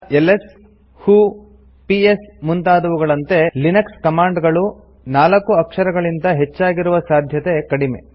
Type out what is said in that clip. LS who PS ಮುಂತಾದವುಗಳಂತೆ Linux command ಗಳು ನಾಲ್ಕು ಅಕ್ಷರಗಳಿಗಿಂತ ಹೆಚ್ಚಾಗಿರುವ ಸಾಧ್ಯತೆ ಕಡಿಮೆ